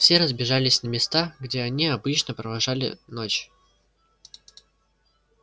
все разбежались на места где они обычно провожали ночь